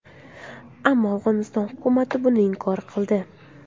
Ammo Afg‘oniston hukumati buni inkor qildi.